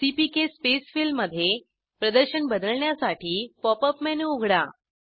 CPK space fill मध्ये प्रदर्शन बदलण्यासाठी पॉप अप मेनू उघडा